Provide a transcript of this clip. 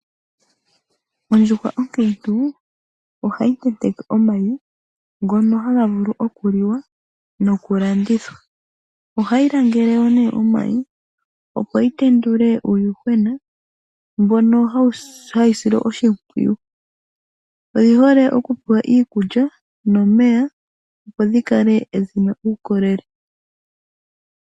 Ondjuhwa okiintu ohayi ntenteke omayi ngono haga vulu okuli wa nokulandithwa. Ohayi langele nee omayi opo yi tenduke uuyuhwena mbono hawu silwa oshimpwiyu. Odhi hole oku pewa iikulya nomeya opo dhi kale dhina uukolele.